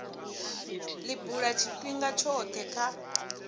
li bula tshifhinga tshothe kha